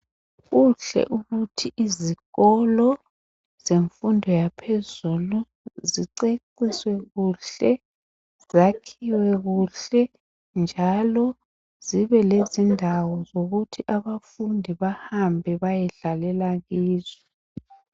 Kuhle ukuthi izikolo zemfundo yaphezulu ziceciswe kuhle, zakhiwe kuhle njalo zibelezindawo zokuthi abafundi bahambe bayedlalela kizo